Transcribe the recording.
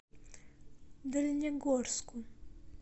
дальнегорску